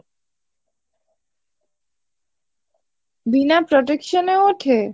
বিনা protection এ ওঠে?